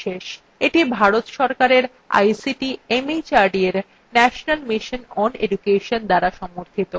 এটি ভারত সরকারের ict mhrd এর national mission on education দ্বারা সমর্থিত